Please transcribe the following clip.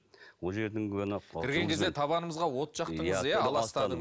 ол жердің кірген кезде табанымызға от жақтыңыз иә аластадыңыз